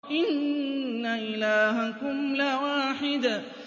إِنَّ إِلَٰهَكُمْ لَوَاحِدٌ